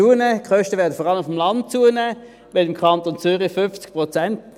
Die Kosten werden vor allem auf dem Land zunehmen, im Kanton Zürich um 50 Prozent.